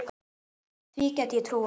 Því gæti ég trúað